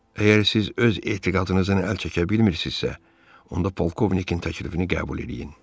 Əgər siz öz etiqadınızdan əl çəkə bilmirsizsə, onda polkovnikin təklifini qəbul eləyin.